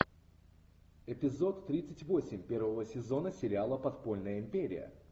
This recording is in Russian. эпизод тридцать восемь первого сезона сериала подпольная империя